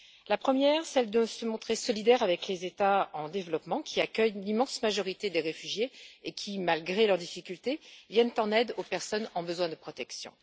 Sa première responsabilité est de se montrer solidaire avec les États en développement, qui accueillent l'immense majorité des réfugiés et qui, malgré leurs difficultés, viennent en aide aux personnes qui ont besoin de protection.